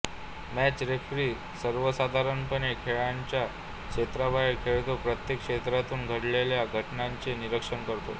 match referee सर्वसाधारणपणे खेळांच्या क्षेत्राबाहेर खेळतो प्रेक्षक क्षेत्रातून घडलेल्या घटनांचे निरीक्षण करतो